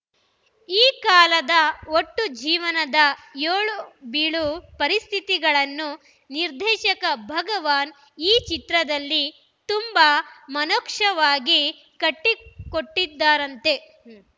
ಈ ಕಾಲದ ಒಟ್ಟು ಜೀವನದ ಏಳು ಬೀಳು ಪರಿಸ್ಥಿತಿಗಳನ್ನು ನಿರ್ದೇಶಕ ಭಗವಾನ್‌ ಈ ಚಿತ್ರದಲ್ಲಿ ತುಂಬಾ ಮನೋಕ್ಷವಾಗಿ ಕಟ್ಟಿಕೊಟ್ಟಿದ್ದಾರಂತೆ